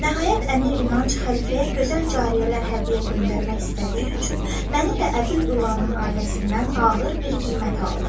Nəhayət, Əmir İnanc xəlifəyə gözəl cariyələr hədiyyə göndərmək istədiyi üçün məni də Əbül Ülanın ailəsindən ağır bir qiymətə aldı.